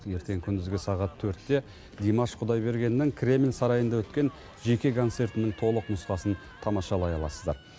ертең күндізгі сағат төртте димаш құдайбергеннің кремль сарайында өткен жеке концертінің толық нұсқасын тамашалай аласыздар